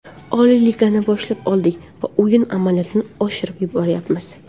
Oliy Ligani boshlab oldik va o‘yin amaliyotini oshirib boryapmiz.